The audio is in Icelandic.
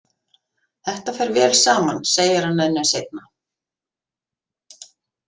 Þetta fer vel saman segir hann henni seinna.